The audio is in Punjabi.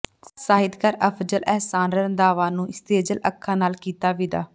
ਸਾਹਿਤਕਾਰ ਅਫ਼ਜ਼ਲ ਅਹਿਸਾਨ ਰੰਧਾਵਾ ਨੂੰ ਸੇਜਲ ਅੱਖਾਂ ਨਾਲ ਕੀਤਾ ਵਿਦਾ